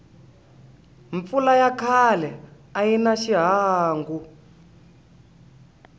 mpfula ya khale ayina hi xihangu